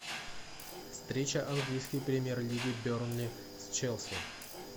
встреча английской премьер лиги бернли с челси